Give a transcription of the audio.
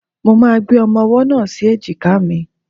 Mo máa gbé ọmọ-ọwọ́ náà sí èjìká mi